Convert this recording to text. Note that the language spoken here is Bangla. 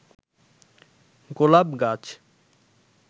গোলাপ গাছ